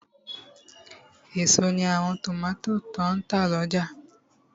Èso ní àwọn tòmátò tó n tà lọ́jà